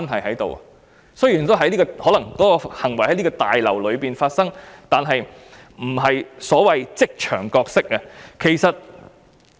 儘管有關行為可能是在立法會大樓內發生，但卻不是所謂的職場角色。